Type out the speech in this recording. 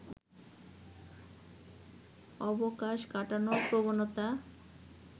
অবকাশ কাটানোর প্রবণতা